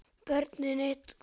Börnin komu eitt af öðru.